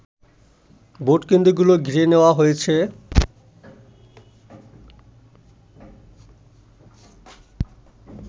ভোটকেন্দ্রগুলো ঘিরে নেয়া হয়েছে